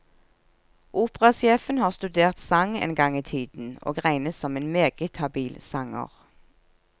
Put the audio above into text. Operasjefen har studert sang en gang i tiden, og regnes som en meget habil sanger.